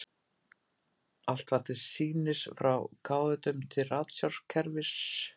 Allt var til sýnis, frá káetum til ratsjárkerfis.